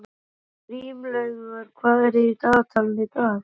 Grímlaugur, hvað er í dagatalinu í dag?